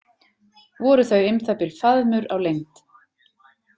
Voru þau um það bil faðmur á lengd.